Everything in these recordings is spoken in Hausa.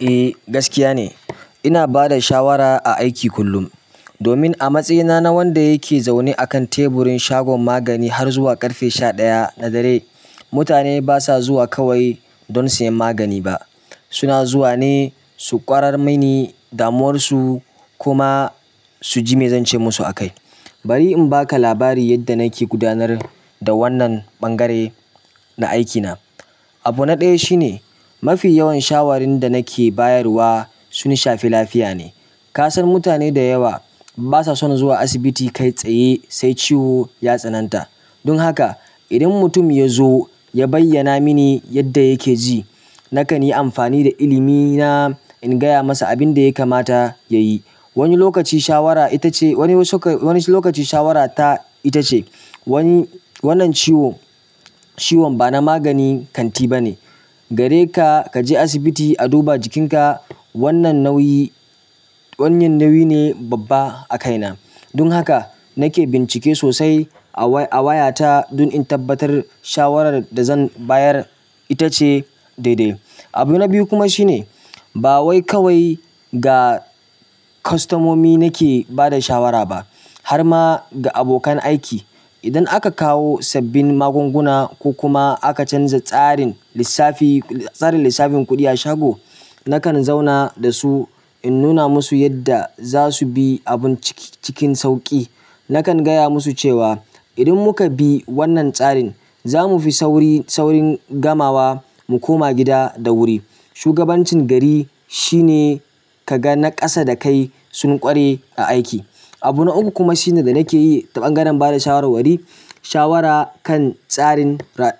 Eh gaskiya ne. Inabada shawara a aiki kullum domin a matsayina na wanda yake zaune akan teburin shagon magani har zuwa ƙarfe sha ɗaya na dare, mutane basa zuwa kawai don siyan magani ba suna zuwa ne su ƙwarar mini damuwarsu kuma suji me zance musu akai. Bari in baka labari yadda nake gudanar da wannan ɓangare na aikina. Abu na ɗaya shine mafi yawan shawarun da nake bayarwa sun shafi lafiya ne. Kasan mutane da yawa basa son zuwa asibiti kai tsaye sai ciwo ya tsananta. Don haka idan mutum yazo ya bayyana mini yadda yake ji nakan yi amfani da ilimina in gaya masa abin da ya kamata ya yi. Wani lokaci shawara ita ce wani suka-- wani lokaci shawara ta ita ce wani wannan ciwo ciwon bana magani kanti bane. AGareka kaje asibiti a duba jikinka. Wannan nauyi wannan nauyi ne babba a kaina. Dun haka nake bincike sosai a waya ta dun in tabbatar shawarar da zan bayar ita ce daidai. Abu na biyu kuma shine ba wai kawai ga kustomomi nake bada shawara ba harma da abokan aiki idan aka kawo sabbin magunguna ko kuma aka canza tsarin lissafi tsarin lissafin kuɗi a shago, nakan zauna da su in nuna musu yadda za su bi abun ciki cikin sauƙi. Nakan gaya musu cewa idan muka bi wannan tsarin, za mu fi sauri saurin gamawa mu koma gida da wuri. Shugabancin gari shine ka ga naƙasa da kai sun ƙware a aiki. Abu na uku kuma shine da nake yi ta ɓangaren bada shawarwari shawara kan tsarin ra--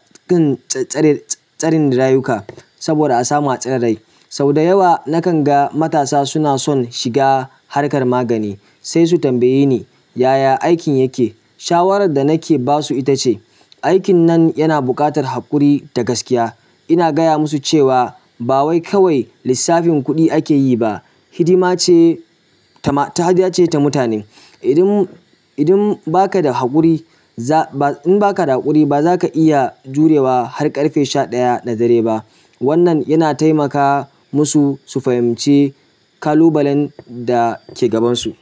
tsarin rayuka. Saboda a samu tsira da rai, sau da yawa nakan ga matasa suna son shiga harkar magani sai su tambaye ni "yaya aikin yake?" Shawarar da nake basu ita ce, "aikin nan yana buƙatar haƙuri da gaskiya." ina gaya musu cewa bawai kawai lissafin kuɗi akeyi ba hidima ce ta ma ta hadayace ta mutane. Idun idun baka da haƙuri za ba in baka da haƙuri ba zaka iya jurewa har ƙarfe sha ɗaya na dare ba. Wannan yana taimaka musu su fahimci ƙalubalen da ke gabansu.